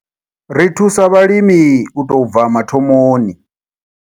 Ri thusa vhalimi u tou bva mathomoni.